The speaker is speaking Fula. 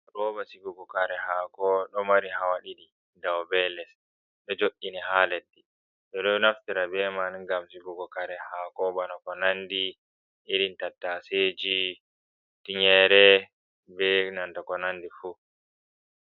Rooba sigugo kare haako, ɗo mari hawa ɗiɗi, dow bee les, ɗo jooɗ’i ni haa leddi, ɓo ɗo naftira be man ngam sigugo kare haako, bana ko nanndi irin tattaseji, tinyeere, bee na ko nanndi fuuh.